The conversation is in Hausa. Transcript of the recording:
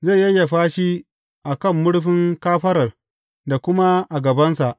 Zai yayyafa shi a kan murfin kafarar da kuma a gabansa.